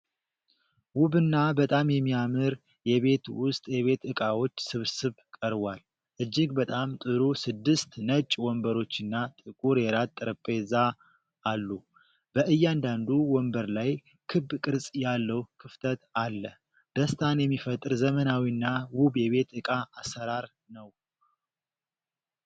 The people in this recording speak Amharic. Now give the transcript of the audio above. ውብና በጣም የሚያምር የቤት ውስጥ የቤት ዕቃዎች ስብስብ ቀርቧል። እጅግ በጣም ጥሩ ስድስት ነጭ ወንበሮችና ጥቁር የራት ጠረጴዛ አሉ። በእያንዳንዱ ወንበር ላይ ክብ ቅርጽ ያለው ክፍተት አለ፤ ደስታን የሚፈጥር ዘመናዊና ውብ የቤት ዕቃ አሠራር ነው።